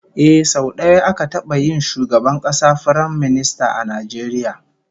Ehh, sau daya aka taba yin shugaban kasa Firaminista a Najeriya